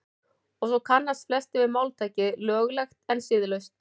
og svo kannast flestir við máltækið „löglegt en siðlaust“